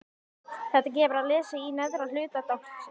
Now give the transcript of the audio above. Þetta gefur að lesa í neðra hluta dálksins